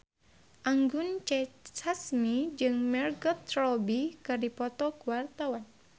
Anggun C. Sasmi jeung Margot Robbie keur dipoto ku wartawan